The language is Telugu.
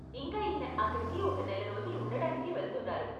ఇంకా ఈయన అక్కడికి ఒక నెల రోజులు ఉండడానికి వెళ్తున్నారు.